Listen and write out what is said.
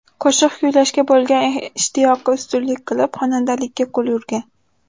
Qo‘shiq kuylashga bo‘lgan ishtiyoqi ustunlik qilib, xonandalikka qo‘l urgan.